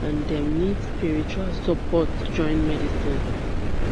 and dem need spiritual support join medicine